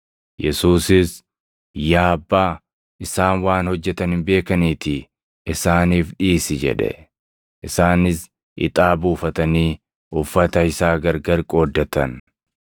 Yesuusis, “Yaa Abbaa, isaan waan hojjetan hin beekaniitii isaaniif dhiisi” jedhe. Isaanis ixaa buufatanii uffata isaa gargar qooddatan.